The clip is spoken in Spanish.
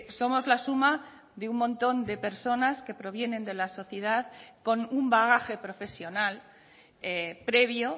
somos la suma de un montón de personas que provienen de la sociedad con un bagaje profesional previo